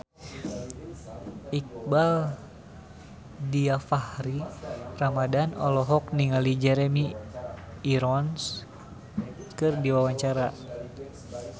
Iqbaal Dhiafakhri Ramadhan olohok ningali Jeremy Irons keur diwawancara